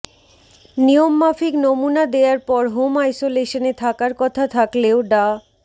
নিয়মমাফিক নমুনা দেয়ার পর হোম আইসোলেশনে থাকার কথা থাকলেও ডা